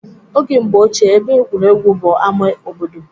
Oge mgbe ochie, ebe egwuregwu bụ ama obodo